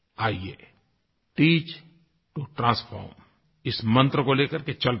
आइये teach to transform इस मंत्र को लेकर के चल पड़ें